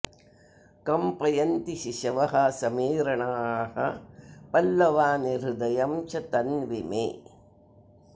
कम्पयन्ति शिशवः समीरणाः पल्लवानि हृदयं च तन्वि मे